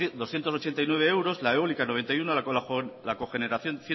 doscientos ochenta y nueve euros la eólica noventa y uno la cogeneración